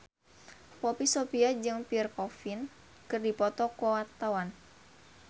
Poppy Sovia jeung Pierre Coffin keur dipoto ku wartawan